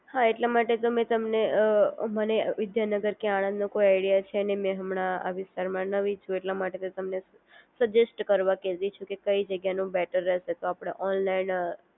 હા એટલા માટે તો મેં તમને મને વિદ્યાનગર કે આણંદ નો કોઈ આઈડિયા છે નહીં, મેં હમણાં આ વિસ્તારમાં નવી છું એટલા માટે તમને સજેસ્ટ કરવા કહેતી છું કે કઈ જગ્યા નું બેટર રહસે તો આપણે ઓનલાઇન